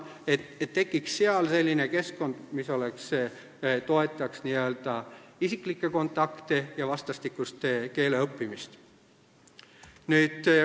Seal saaks tekkida selline keskkond, mis toetaks isiklikke kontakte ja vastastikust keeleõppimist.